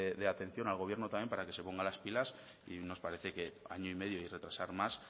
de atención al gobierno también para que se ponga las pilas y nos parece que año y medio y retrasar más